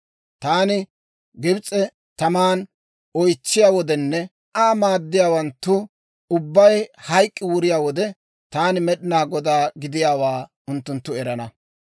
Taani Gibs'e taman oytsiyaa wodenne Aa maaddiyaawanttu ubbay hayk'k'i wuriyaa wode, taani Med'inaa Godaa gidiyaawaa unttunttu erana.